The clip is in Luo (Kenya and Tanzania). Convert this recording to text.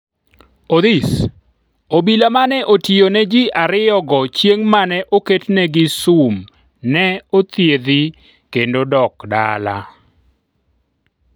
Odhis, obila mane otiyo ne ji ariyo go chieng' mane oketnegi sum ne othiedhi kendo sok dala